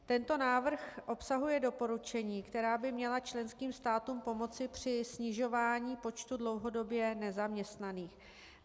Tento návrh obsahuje doporučení, která by měla členským státům pomoci při snižování počtu dlouhodobě nezaměstnaných.